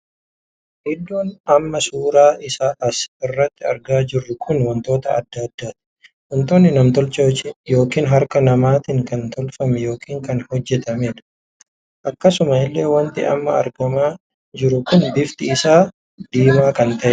Iddoon amma suuraa isaa as irratti argaa jirru kun wantoota addaa addaati. wantoonni namtolchee ykn harka namaatiin kan tolfame ykn kan hojjetameedha. akkasuma illee wanti amma argamaa jiru kun bifti isaa diimaa kan taheedha.